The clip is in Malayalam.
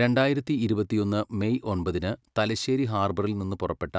രണ്ടായിരത്തി ഇരുപത്തിയൊന്ന് മേയ് ഒമ്പതിന് തലശ്ശേരി ഹാർബറിൽ നിന്ന് പുറപ്പെട്ട